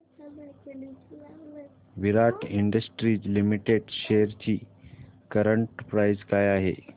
विराट industries limited shares ची current price काय आहे